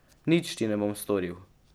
Nič ti ne bom storil.